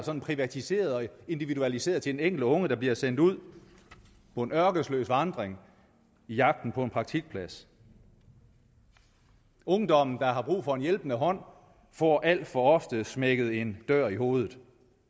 en privatiseret og individualiseret den enkelte unge der bliver sendt ud på en ørkesløs vandring i jagten på en praktikplads ungdommen der har brug for en hjælpende hånd får alt for ofte smækket en dør i hovedet